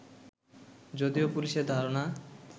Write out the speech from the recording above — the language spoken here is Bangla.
যদিও পুলিশের ধারণা